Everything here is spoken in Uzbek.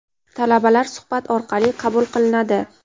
Talabalar suhbat orqali qabul qilinadi.